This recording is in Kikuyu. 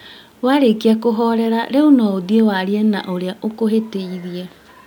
Warĩkia kũhorera rĩu no ũthiĩ warie na ũrĩa ũkũhĩtĩirie